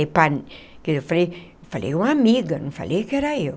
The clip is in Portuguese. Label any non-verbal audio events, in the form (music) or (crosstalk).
(unintelligible) Que eu falei falei uma amiga, não falei que era eu.